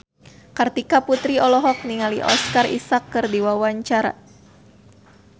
Kartika Putri olohok ningali Oscar Isaac keur diwawancara